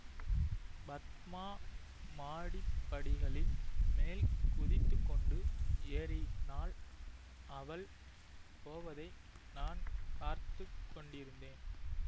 பத்மா மாடிப் படிகளின் மேல் குதித்து கொண்டு ஏறினாள் அவள் போவதை நான் பார்த்து கொண்டிருந்தேன்